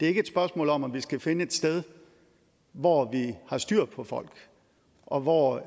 er et spørgsmål om at vi skal finde et sted hvor vi har styr på folk og hvor